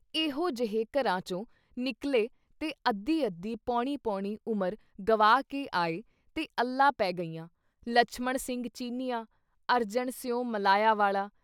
ਐਹੋ ਜਹੇ ਘਰਾਂ ਚੋਂ ਨਿਕਲ਼ੇ ਤੇ ਅੱਧੀ-ਅੱਧੀ ਪੌਣੀ-ਪੌਣੀ ਉਮਰ ਗਵਾ ਕੇ ਆਏ ਤੇ ਅੱਲਾਂ ਪੈ ਗਈਆਂ, ਲਛਮਣ ਸਿੰਘ ਚੀਨੀਆਂ, ਅਰਜਣ ਸਿਉਂ ਮਲਾਇਆ ਵਾਲਾ।